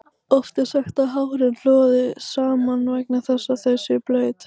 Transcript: Oft er sagt að hárin loði saman vegna þess að þau séu blaut.